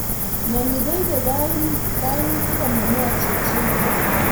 Mnyeni koibei kainotik ama mwochi chi.